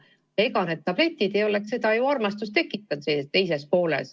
Tabletid ei oleks ju teises pooles tema vastu armastust tekitanud.